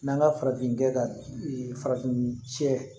N'an ka farafinkɛ ka farafin cɛ